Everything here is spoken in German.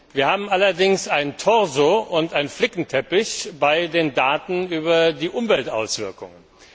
Wir haben allerdings einen Torso und einen Flickenteppich bei den Daten über die Umweltauswirkungen.